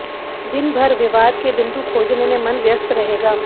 दिन भर विवाद के बिन्दु खोजने में मन व्यस्त रहेगा